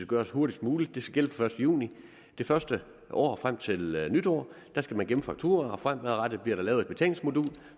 gøres hurtigst muligt det skal gælde fra første juni det første år og frem til nytår skal man gemme fakturaer og fremadrettet bliver der lavet et betalingsmodul